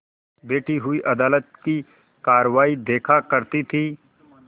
बैठी हुई अदालत की कारवाई देखा करती थी